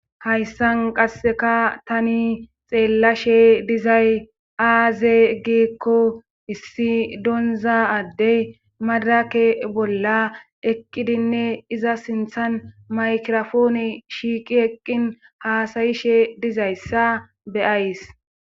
Hayssan qasseka tani xeellashe dizay aaze giikko issi donza addey madrake bolla eqqidinne iza sinthan maykirofoone shiiqi eqqin haasayishe dizayssa beyays.